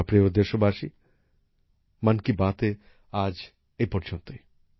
আমার প্রিয় দেশবাসী মন কি বাতে আজ এপর্যন্তই